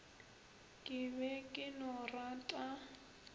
ke be ke no rata